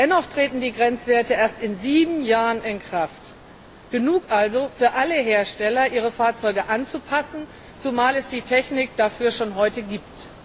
Dennoch treten die Grenzwerte erst in sieben Jahren in Kraft, genug Zeit also für alle Hersteller, ihre Fahrzeuge anzupassen, zumal es die Technik dafür schon heute gibt.